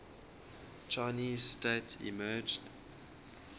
chinese state emerged